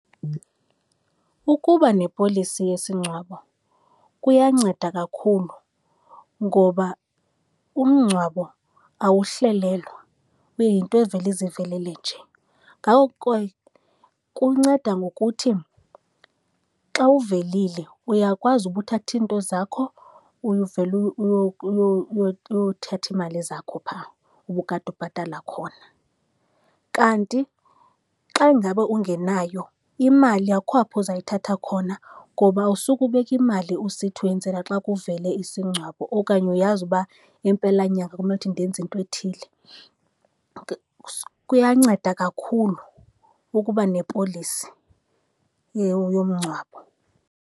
Ukuba nepolisi yesingcwabo kuyanceda kakhulu ngoba umngcwabo awuhlelelwa, uyinto evele izivelele nje. Ngako kunceda ngokuthi xa uvelile uyakwazi uba uthathe iinto zakho uyuvele uyothatha iimali zakho phaa ubukade ubhatala khona. Kanti xa ingaba ungenayo imali akukho apho uzayithatha khona ngoba usuke ubeka imali usithi uyenzela xa kuvele isingcwabo, okanye uyazi uba ngeempelanyanga kumele ukuthi ndenze into ethile. Kuyanceda kakhulu ukuba nepolisi yomngcwabo.